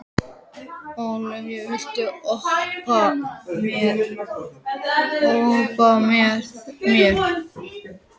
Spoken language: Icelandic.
Ólavía, viltu hoppa með mér?